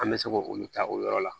An bɛ se k'olu ta o yɔrɔ la